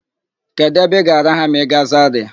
Kedụ ebe ị ga-araha ma ị gaa Zarịa?